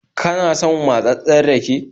Kana son matsatssen rake?